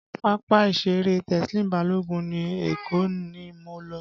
Pápá ìṣeré Teslim Balogun ní Èkó ni mo lọ